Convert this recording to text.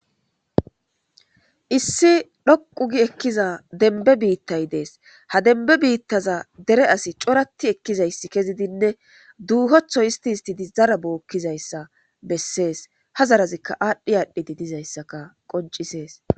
Issi dhoqqu gii ekiza denbbe biitay de'es ha denbbe biitaza dere asi corattti ekizayssi keziddinne duuhoththo hiisitidi zara bokkizayssa besess ha zarazika adhdhi adhdhidi dizayssa qonccises.